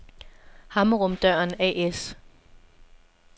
Hammerum-Døren A/S